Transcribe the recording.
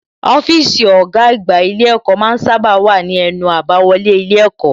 Ọ́fíìsì ọ̀gá àgbà ilé ẹ̀kọ́ ma ń sábà wà ní ẹnu àbáwọlé ilé ẹ̀kọ́